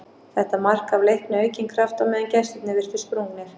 Þetta mark gaf Leikni aukinn kraft á meðan gestirnir virtust sprungnir.